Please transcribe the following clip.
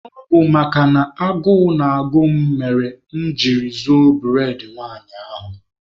Ọ bụ makana agụụ na-agụ m mere mụ jiri zuo bụredị nwanyị ahụ.